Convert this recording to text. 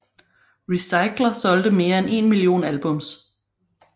Recycler solgte mere end 1 million albums